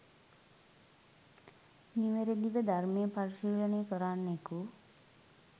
නිවැරදිව ධර්මය පරිශීලනය කරන්නෙකු